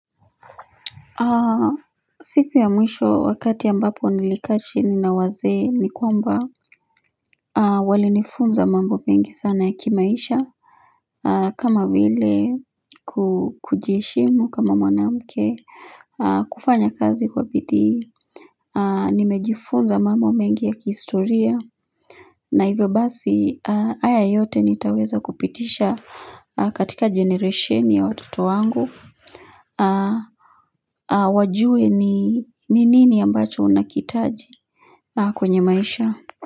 Siku ya mwisho wakati ambapo nilikaa chini na wazee ni kwamba walinifunza mambo mengi sana ya kimaisha kama vile kujiheshimu kama mwanamke kufanya kazi kwa bidii nimejifunza mambo mengi ya kihistoria na hivyo basi haya yote nitaweza kupitisha katika generesheni ya watoto wangu wajue ni nini ambacho unakiitaji kwenye maisha.